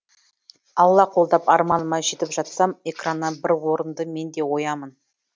алла қолдап арманыма жетіп жатсам экраннан бір орынды мен де оямын